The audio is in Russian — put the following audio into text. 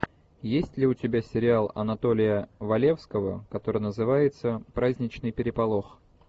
есть ли у тебя сериал анатолия валевского который называется праздничный переполох